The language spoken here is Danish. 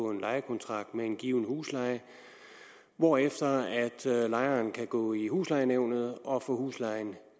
en lejekontrakt med en given husleje hvorefter lejeren kan gå i huslejenævnet og få huslejen